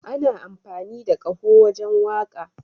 Ana amfani da kaho wajen waka.